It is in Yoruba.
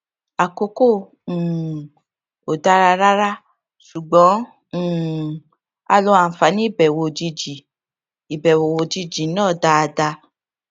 àkókò um ò dára rárá ṣùgbón um a lo àǹfààní ìbèwò òjijì ìbèwò òjijì náà dáadáa